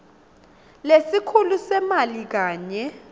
lesikhulu semali kanye